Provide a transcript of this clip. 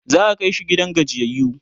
za'a Kai shi gidan gajiyayyu